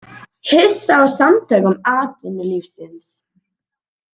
Hissa á Samtökum atvinnulífsins